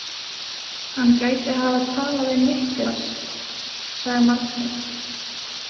Hann gæti hafa talað við Niklas, sagði Margrét.